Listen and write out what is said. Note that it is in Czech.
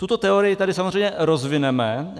Tuto teorii tady samozřejmě rozvineme.